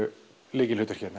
lykilhlutverki